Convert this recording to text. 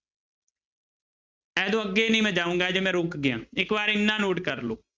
ਇਹ ਤੋਂ ਅੱਗੇ ਨੀ ਮੈਂ ਜਾਊਂਗਾ ਹਜੇ ਮੈਂ ਰੁੱਕ ਗਿਆਂ, ਇੱਕ ਵਾਰ ਇੰਨਾ note ਕਰ ਲਓ।